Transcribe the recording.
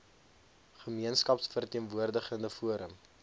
gemeenskaps verteenwoordigende forum